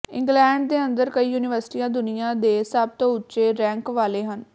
England ਦੇ ਅੰਦਰ ਕਈ ਯੂਨੀਵਰਸਿਟੀਆਂ ਦੁਨੀਆ ਦੇ ਸਭ ਤੋਂ ਉੱਚੇ ਰੈਂਕ ਵਾਲੇ ਹਨ